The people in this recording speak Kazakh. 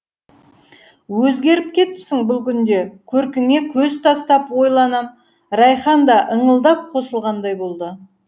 өзгеріп кетіпсің бұл күнде көркіңе көз тастап ойланам райхан да ыңылдап қосылғандай болды